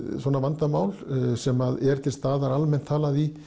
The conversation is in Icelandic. svona vandamál sem er til staðar almennt talað í